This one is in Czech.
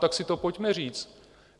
Tak si to pojďme říct.